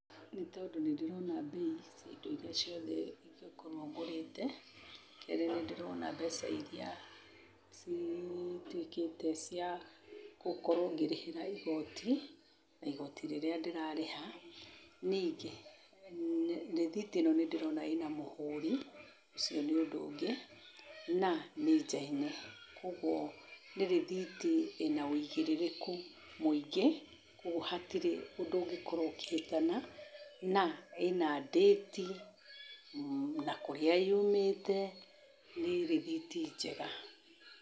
Nĩ tondũ nĩ ndĩrona mbei cia indo iria ciothe ingĩkorwo ngũrĩte. Kerĩ nĩ ndĩrona mbeca iria cituĩkĩte cia kũkorwo ngĩrĩhĩra igoti, na igoti rĩrĩa ndĩrarĩha. Ningĩ, rĩthiti ĩno nĩ ndĩrona ĩna mũhũri, ũcio nĩ ũndũ ũngĩ, na nĩ njaine. Kwoguo nĩ rĩthiti ĩna wũigĩrĩrĩku mũingĩ kwoguo hatirĩ ũndũ ũngĩkorwo ũkĩhĩtana. Na, ĩna ndĩti, na kũrĩa yumĩte, nĩ rĩthiti njega.